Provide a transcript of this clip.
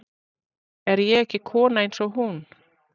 Er ég ekki kona eins og hún?